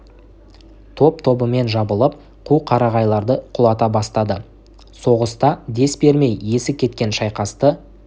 топ-тобымен жабылып қу қарағайларды құлата бастады соғыста дес бермей есі кете шайқасты